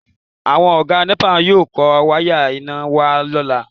Àwọn Ọ̀gá nẹ́pà yóò kó wáyà iná wá lọ́la